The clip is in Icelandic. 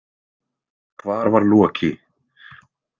Hvar var Loki?